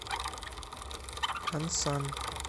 ансан